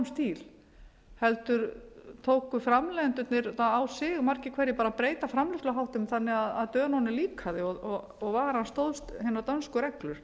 stíl heldur tóku framleiðendurnir það á sig margir hverjir að breyta framleiðsluháttum þannig að dönunum líkaði og varan stóðst hinar dönsku reglur